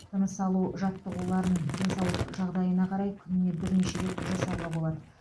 тыныс алу жаттығуларын денсаулық жағдайына қарай күніне бірнеше рет жасауға болады